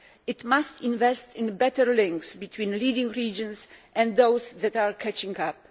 It must invest in better links between leading regions and those that are catching up.